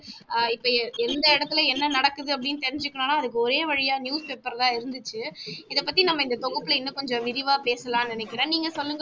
அஹ் இப்ப எந்த இடத்துல என்ன நடக்குது அப்படின்னு தெரிஞ்சுகணும்னா அதுக்கு ஒரே வழியா newspaper தான் இருந்துச்சு, இத பத்தி நம்ம இந்த தொகுப்புல இன்னும் கொஞ்சம் விரிவா பேசலாம்னு நெனைக்குறேன் நீங்க சொல்லுங்க